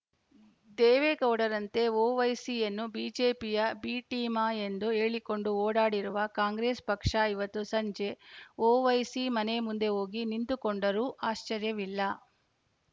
ದೇವೇಗೌಡರಂತೆ ಓವೈಸಿಯನ್ನು ಬಿಜೆಪಿಯ B team ಎಂದು ಹೇಳಿಕೊಂಡು ಓಡಾಡಿರುವ ಕಾಂಗ್ರೆಸ್‌ ಪಕ್ಷ ಇವತ್ತು ಸಂಜೆ ಓವೈಸಿ ಮನೆ ಮುಂದೆ ಹೋಗಿ ನಿಂತುಕೊಂಡರೂ ಆಶ್ಚರ್ಯವಿಲ್ಲ